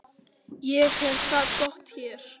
Ég hef það gott hér.